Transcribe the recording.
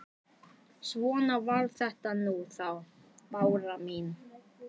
Svona var þetta nú þá, Bára mín.